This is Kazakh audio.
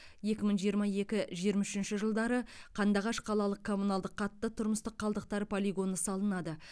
екі мың жиырма екі жиырма үшінші жылдары қандыағаш қалалық коммуналдық қатты тұрмыстық қалдықтар полигоны салынады